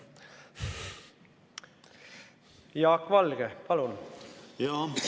Jaak Valge, palun!